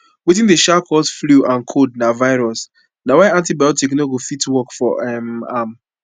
wetin dey um cause flu and cold na virus na y antibiotic no go fit work for um am